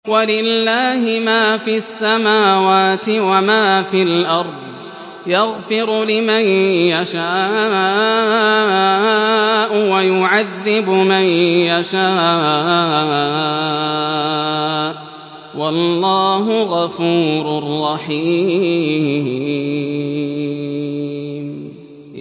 وَلِلَّهِ مَا فِي السَّمَاوَاتِ وَمَا فِي الْأَرْضِ ۚ يَغْفِرُ لِمَن يَشَاءُ وَيُعَذِّبُ مَن يَشَاءُ ۚ وَاللَّهُ غَفُورٌ رَّحِيمٌ